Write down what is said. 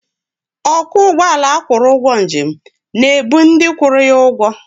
Ọkwọ ụgbọala agwụrụ ụgwọ njem na-ebu ndị kwụrụ ya ụgwọ.